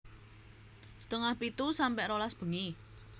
setengah pitu sampe rolas bengi